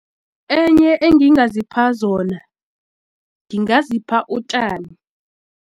Enye engingazipha zona ngingazipha utjani.